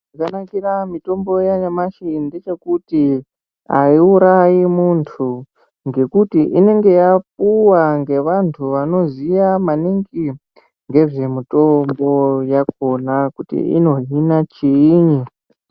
Zvakanakira mitombo yanyamashi ndechekuti haiurayi muntu ngekuti inenge yapuwa ngevantu vanoziya maningi ngezvemutombo yakona kuti inohina chiinyi.